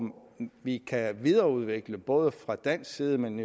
vi kan videreudvikle både fra dansk side men